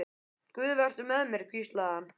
Guð, vertu með mér, hvíslaði hann.